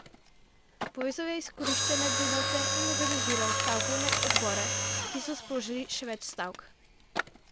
Povezal je izkoriščane delavce in organiziral stavkovne odbore, ki so sprožili še več stavk.